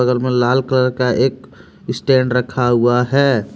उधर में लाल कलर एक का स्टैंड रखा हुआ है।